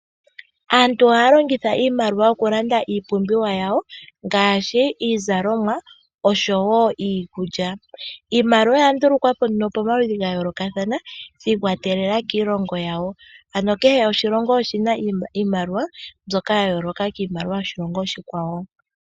Aantu ohaya longitha iimaliwa oku landa iipumbiwa yawo ngaashi iizalomwa osho woo iikulya. Iimaliwa oya ndulukwapo nduno pomaludhi gayoolokathana shi ikwatelela kiilongo yawo. Ano kehe oshilongo oshina iimaliwa mbyoka ya yooloka kiimaliwa yoshilongo oshikwawo.